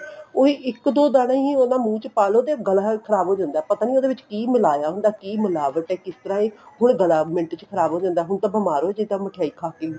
ਉਹੀ ਇੱਕ ਦੋ ਦਾਣੇ ਹੀ ਉਹਨਾ ਦੇ ਮੂੰਹ ਚ ਪਾਲੋ ਤੇ ਗਲਾ ਖ਼ਰਾਬ ਹੋ ਜਾਂਦਾ ਪਤਾ ਨਹੀਂ ਉਹਦੇ ਵਿੱਚ ਕਿ ਮਿਲਾ ਹੁੰਦਾ ਕਿ ਮਿਲਾਵਟ ਏ ਕਿਸ ਤਰ੍ਹਾਂ ਦੀ ਹੁਣ ਗਲਾ ਮਿੰਟ ਚ ਖ਼ਰਾਬ ਹੋ ਜਾਂਦਾ ਹੁਣ ਤਾਂ ਬੀਮਾਰ ਹੋ ਜਾਈਦਾ ਮਿਠਾਈ ਖਾਕੇ ਵੀ